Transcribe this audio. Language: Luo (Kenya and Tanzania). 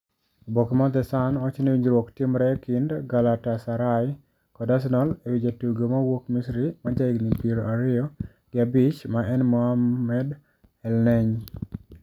Oboke mar the Sun wacho ni winjruok timre e kind Galatasaray kod Arsenal e wi jatugo mawuok Misri ma jahigni pier ariyo gi abich ma en Mohamed Elneny.